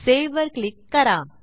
save वर click करा